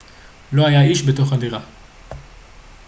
לא היה איש בתוך הדירה